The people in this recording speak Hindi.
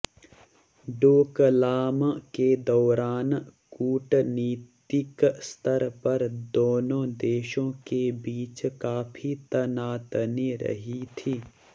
डोकलाम के दौरान कूटनीतिक स्तर पर दोनों देशों के बीच काफी तनातनी रही थी